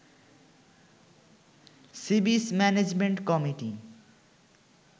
sea beach management committee